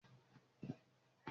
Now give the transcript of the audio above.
Àgbè máa ṣíṣe lóko.